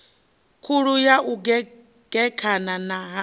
khulu ya u gekhana ha